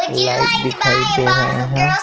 Light दिखाई दे रहे हैं।